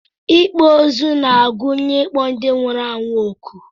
Ịkpọ ozu na-agụnye ịkpọ ndị nwụrụ anwụ ọkụ